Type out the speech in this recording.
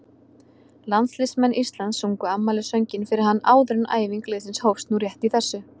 Landsliðsmenn Íslands sungu afmælissönginn fyrir hann áður en æfing liðsins hófst nú rétt í þessu.